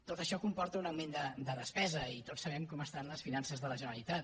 tot això comporta un augment de despesa i tots sabem com estan les finances de la generalitat